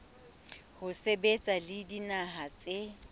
ho sebetsa le dinaha tse